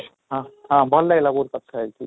ହଁ ହଁ, ଭଲ ଲାଗିଲା ବହୁତ କଥା ହେଇକି